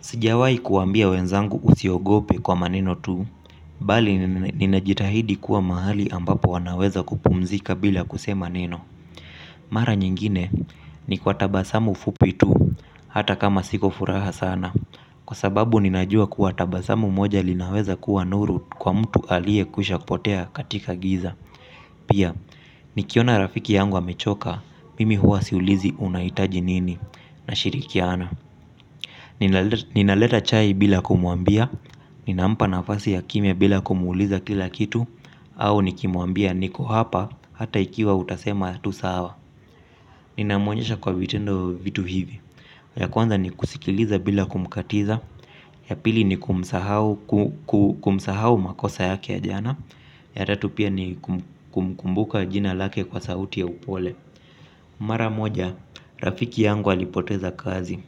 Sijawahi kuambia wenzangu usiogope kwa maneno tu, bali ninajitahidi kuwa mahali ambapo wanaweza kupumzika bila kusema neno. Mara nyingine, ni kwa tabasamu fupi tu, hata kama siko furaha sana, kwa sababu ninajua kuwa tabasamu moja linaweza kuwa nuru kwa mtu alie kushakupotea katika giza. Pia, nikiona rafiki yangu amechoka, mimi huwa siulizi, unahitaji nini? Nashirikiana. Ninaleta chai bila kumuambia. Ninampa nafasi ya kimya bila kumuuliza kila kitu. Au nikimuambia niko hapa, hata ikiwa utasema tusawa. Ninamuonyesha kwa vitendo, vitu hivi. Ya kwanza ni kusikiliza bila kumkatiza. Ya pili ni kumsahau makosa yake ya jana. Ya tatupia ni kumkumbuka jina lake kwa sauti ya upole. Mara moja, rafiki yangu alipoteza kazi.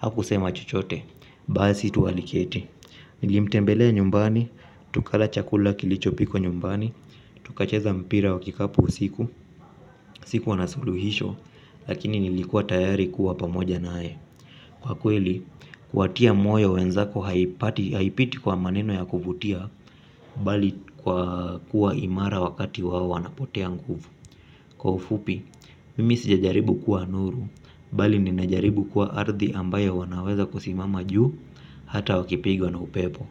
Hakusema chochote. Basi, tu aliketi. Nilimtembelea nyumbani. Tukala chakula kilichopikwa nyumbani. Tukacheza mpira wakikapu usiku, sikuwa na suluhisho. Lakini nilikua tayari kuwa pamoja nae. Kwa kweli, kuwa tia moyo wenzako haipiti kwa maneno ya kuvutia, bali kwa kuwa imara wakati wao wana potea nguvu. Kwa ufupi, mimi sija jaribu kuwa nuru. Bali ninajaribu kuwa ardhi ambayo wanaweza kusimama juu, hata wakipigwa na upepo.